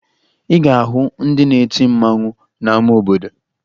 Ị ga-ahụ ndị na-eti mmanwụ n'ama obodo